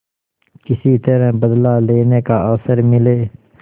किसी तरह बदला लेने का अवसर मिले